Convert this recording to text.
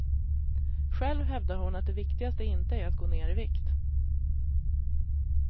Själv hävdar hon att det viktigaste inte är att gå ner i vikt.